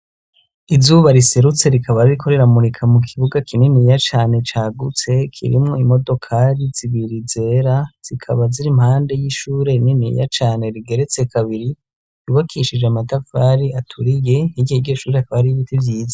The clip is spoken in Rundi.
Izuba riserutse rikaba ririko riramurika mu kibuga kininiya cane cagutse, kirimwo imodokari zibiri zera, zikaba ziri impande y'ishure niniya cane rigeretse kabiri, ryubakishije amatafari aturiye; Hirya y'iryo shure hakaba hariho ibiti vyiza.